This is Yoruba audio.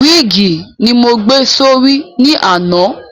Wíìgì ni mo gbé sí orí ní àná